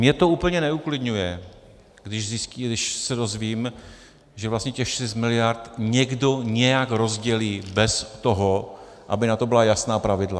Mě to úplně neuklidňuje, když se dozvím, že vlastně těch šest miliard někdo nějak rozdělí bez toho, aby na to byla jasná pravidla.